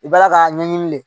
I b'ala k'a ɲɛɲini de